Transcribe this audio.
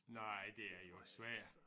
Nej det er jo svært